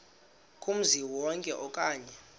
kumzi wonke okanye